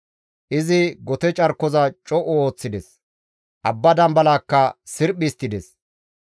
Izi gote carkoza co7u histtides; abba dambalakka sirphi histtides.